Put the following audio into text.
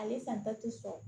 Ale san ba ti sɔrɔ